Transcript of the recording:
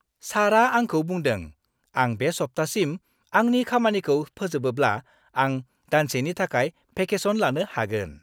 सारआ आंखौ बुंदों, आं बे सप्तासिम आंनि खामानिखौ फोजोबोब्ला आं दानसेनि थाखाय भेकेसन लानो हागोन।